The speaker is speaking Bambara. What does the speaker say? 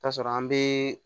Ta sɔrɔ an bɛ